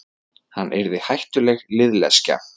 Hann yrði hættuleg liðleskja.